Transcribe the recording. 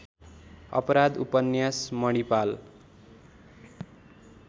अपराध उपन्यास मणिपाल